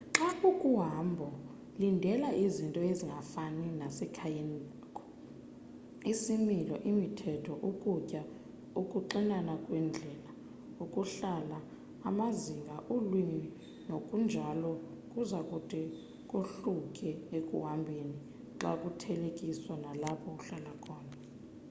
xa ukuhambo lindela izinto zingafani nasekhayeni lakho isimilo imithetho ukutya ukuxinana kweendlela ukuhlala amazinga ulwimi nokunjalo kuzakude kohluke ekuhambheni xakuthelekiswa nalapho uhlala khona